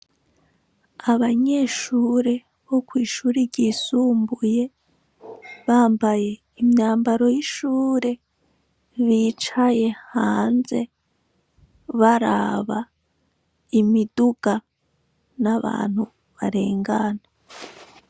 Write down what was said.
Abanyeshure bo kw'ishure ryisumbuye, bambaye imyambaro y'ishure; bicaye hanze baraba imiduga n'abantu barengana.